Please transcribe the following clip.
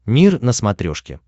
мир на смотрешке